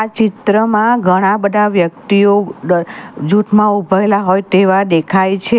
આ ચિત્રમાં ઘણા બધા વ્યક્તિઓ ડ જૂઠમાં ઊભેલા હોય તેવા દેખાય છે.